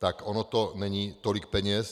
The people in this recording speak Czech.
Tak ono to není tolik peněz.